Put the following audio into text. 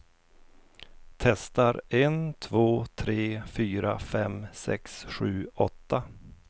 Testar en två tre fyra fem sex sju åtta.